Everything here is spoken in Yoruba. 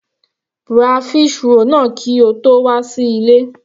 Ra fish roll náà kí o tó wà sí ilé.